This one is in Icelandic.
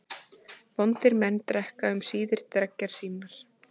Vondir menn drekka um síðir dreggjar sínar.